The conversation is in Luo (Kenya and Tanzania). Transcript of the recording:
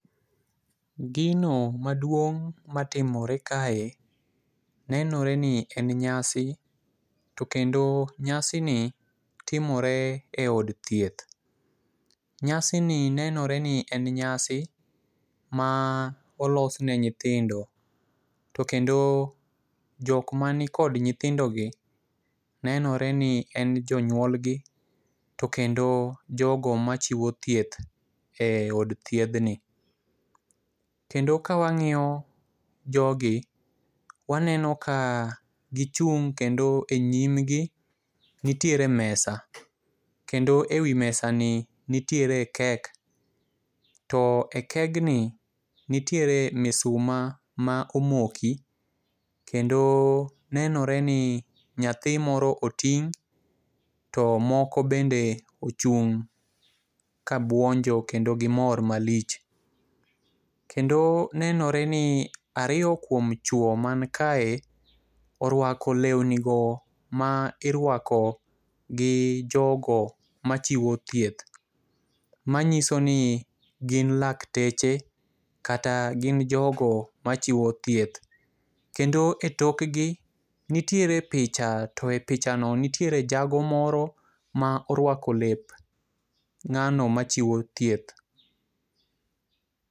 Gino maduong' matimore kae nenore ni en nyasi to kendo nyasi ni timore e od thieth. Nyasi ni nenore ni en nyasi ma olos ne nyithindo. To kendo jok mani kod nyithindo gi nenore ni en jonyuolgi to kendo jogo machiwo thieth e od thiedhni kendo ka wang'iyo jogi, waneno ka gichung' kendo e nyim gi nitiere mesa. Kendo ewi mesa ni nitiere kek to e kegni nitiere misuma ma omoki kendo nenore ni nyathi moro oting' to moko bende ochung' ka buonjo kendo gimor malich. Kendo nenore ni ariyo kuom chuo man kae orwako lewni go ma irwako gi jogo machiwo thieth. Manyiso ni gin lakteche kata gin jogo machiwo thieth. Kendo e tokgi nitiere picha to e picha no nitiere jago moro morwako lep ng'ano machiwo thieth.